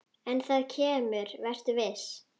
En það kemur, vertu viss.